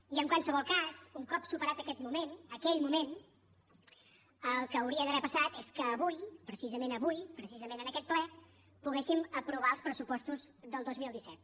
i en qualsevol cas un cop superat aquell moment el que hauria d’haver passat és que avui precisament avui precisament en aquest ple poguéssim aprovar els pressupostos del dos mil disset